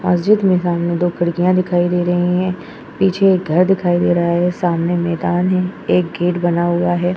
मस्जिद में सामने दो खिड़कियाँ दिखाई दे रही हैं। पीछे एक घर दिखाई दे रहा है। सामने मैदान है। एक गेट बना हुआ है।